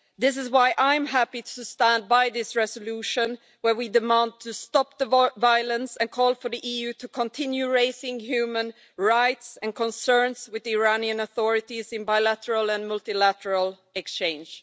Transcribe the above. This is why I'm happy to stand by this resolution, where we demand a stop to the violence and call for the EU to continue raising human rights and concerns with the Iranian authorities in bilateral and multilateral exchanges.